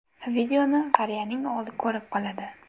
Videoni qariyaning o‘g‘li ko‘rib qoladi.